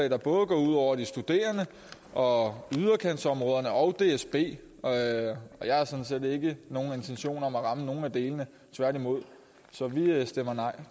der både går ud over de studerende og yderkantsområderne og dsb og jeg har sådan set ikke nogen intentioner om at ramme nogen af dem tværtimod så vi stemmer nej